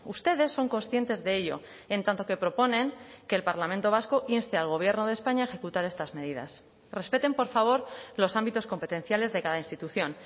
ustedes son conscientes de ello en tanto que proponen que el parlamento vasco inste al gobierno de españa a ejecutar estas medidas respeten por favor los ámbitos competenciales de cada institución